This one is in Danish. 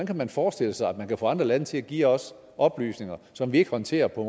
kan man forestille sig at man kan få andre lande til at give os oplysninger som vi ikke håndterer på